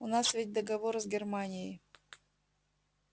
у нас ведь договор с германией